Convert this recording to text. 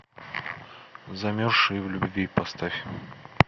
замерзшие в любви поставь